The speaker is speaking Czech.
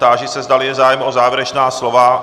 Táži se, zdali je zájem o závěrečná slova.